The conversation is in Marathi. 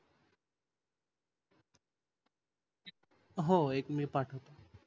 हो एक मी पाठवतो